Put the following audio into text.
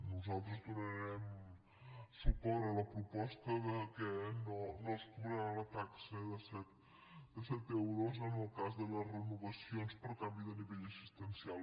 nosaltres donarem suport a la proposta que no es cobrarà la taxa de set euros en el cas de les renovacions per canvi de nivell assistencial